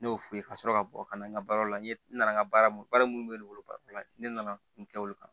Ne y'o f'u ye ka sɔrɔ ka bɔ ka na n ka baara la n ye n nana n ka baara mun baara minnu bɛ ne bolo baara la ne nana n kɛ olu kan